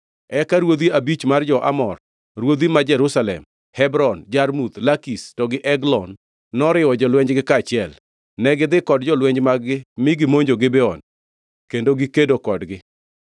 Eka ruodhi abich mar jo-Amor; ruodhi ma Jerusalem, Hebron, Jarmuth, Lakish to gi Eglon noriwo jolwenjgi kaachiel. Negidhi kod jolweny mag-gi mi gimonjo Gibeon kendo gikedo kodgi.